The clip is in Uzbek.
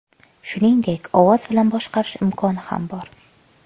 Shuningdek, ovoz bilan boshqarish imkoni ham bor.